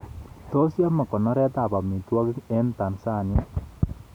Tos yame konoret ab amitwogik eng Tansania